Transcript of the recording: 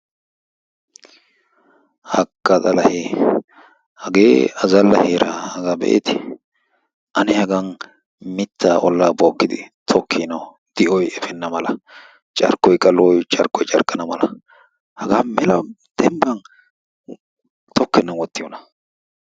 Haakka xalahee! hagee azalla heeraa hagaa be"eetii? ane hagaan miittaa ollaa bookkidi tokkiinoo di"oy efeenna mala carkkoykka lo"oy carkkana carkkana mala hagaa mela dembban toknenan wottiyoona.